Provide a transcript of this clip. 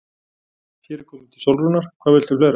Hér er komið til Sólrúnar, hvað viltu fleira?